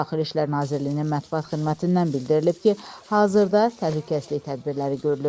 Daxili İşlər Nazirliyinin mətbuat xidmətindən bildirilib ki, hazırda təhlükəsizlik tədbirləri görülür.